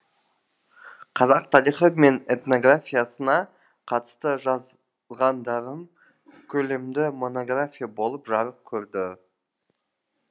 қазақ тарихы мен этнографиясына қатысты жазғандарым көлемді монография болып жарық көрді